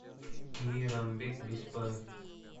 мейрамбек беспаев